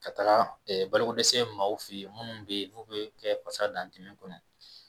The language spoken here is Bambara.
Ka taga balokodɛsɛ maaw fɛ yen minnu bɛ yen n'u bɛ kɛ pasa dantɛmɛ kɔnɔ